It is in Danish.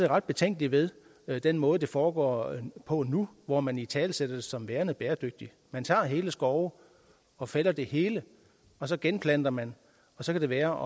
ret betænkelig ved den måde det foregår på nu hvor man italesætter det som værende bæredygtigt man tager hele skove og fælder det hele og så genplanter man så kan det være